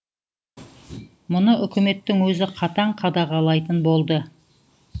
мұны үкіметтің өзі қатаң қадағалайтын болды